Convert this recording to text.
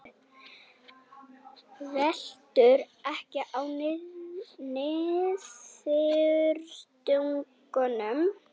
Veltur ekki á niðurstöðunum